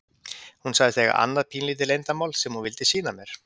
Hún sagðist eiga annað pínulítið leyndarmál sem hún vildi sýna mér.